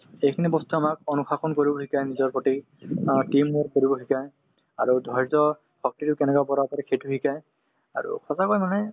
সেইখিনি বস্তুয়ে আমাক অনুশাসন কৰিবলৈ শিকাই নিজৰ প্ৰতি অ team work কৰিব শিকাই আৰু ধৈৰ্য্যশক্তিতো কেনেকে বঢ়াব পাৰি সেইটো শিকাই আৰু সঁচাকৈ মানে